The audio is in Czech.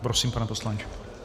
Prosím, pane poslanče.